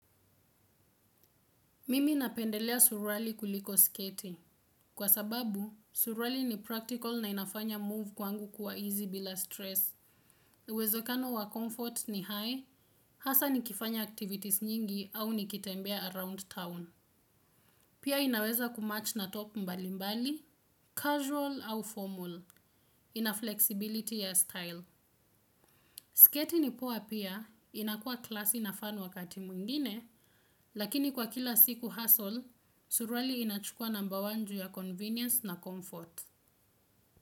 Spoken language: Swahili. Mimi napendelea surwali kuliko sketi. Kwa sababu, surwali ni practical na inafanya move kwangu kuwa easy bila stress. Uwezo kano wa comfort ni high, hasa nikifanya activities nyingi au nikitembea around town. Pia inaweza kumatch na top mbali mbali, casual au formal, inaflexibility ya style. Sketi ni poa pia, inakuwa classy na fun wakati mwingine, lakini kwa kila siku hassle, surwali inachukua namba one ju ya convenience na comfort.